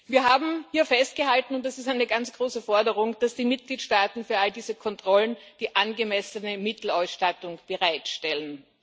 Wir haben hier festgehalten und das ist eine ganz große Forderung dass die Mitgliedstaaten für all diese Kontrollen die angemessene Mittelausstattung bereitstellen.